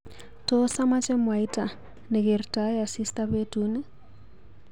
Tos amache mwaita nakertoe asista betuni?